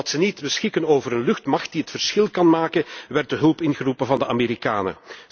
Omdat ze niet beschikken over een luchtmacht die het verschil kan maken, werd de hulp ingeroepen van de Amerikanen.